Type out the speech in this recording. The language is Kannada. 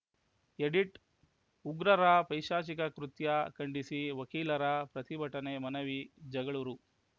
ಎಡಿಟ್‌ ಉಗ್ರರ ಪೈಶಾಚಿಕ ಕೃತ್ಯ ಖಂಡಿಸಿ ವಕೀಲರ ಪ್ರತಿಭಟನೆ ಮನವಿ ಜಗಳೂರು